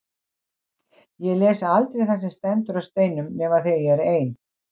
Ég les aldrei það sem stendur á steinum nema þegar ég er ein.